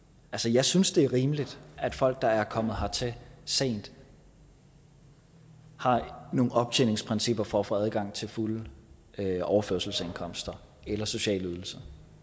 jeg synes det er rimeligt at folk der er kommet hertil sent har nogle optjeningsprincipper for at få adgang til fulde overførselsindkomster eller sociale ydelser